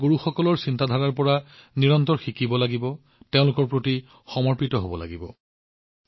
আমি আমাৰ গুৰুসকলৰ শিক্ষাৰ পৰা নিৰন্তৰে শিকিব লাগিব আৰু তেওঁলোকৰ প্ৰতি সমৰ্পিত হৈ থাকিব লাগিব